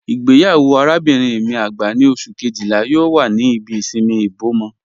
Igbeyawo arábinrin mi agbá ni Ọṣù kejìlá yoo wà ní ìbí ìṣinmí Ìbòmọ́